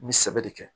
N bɛ sɛbɛ de kɛ